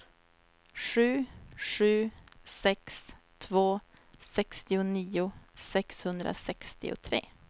sju sju sex två sextionio sexhundrasextiotre